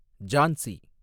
Jhansi